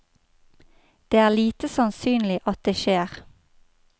Det er lite sannsynlig at det skjer.